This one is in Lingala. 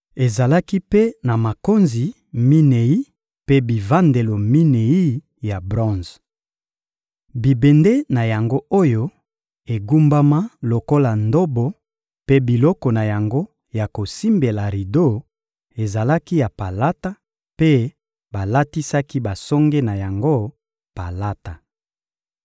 Ezalaki mpe na makonzi minei mpe bivandelo minei ya bronze. Bibende na yango oyo egumbama lokola ndobo mpe biloko na yango ya kosimbela rido ezalaki ya palata, mpe balatisaki basonge na yango palata.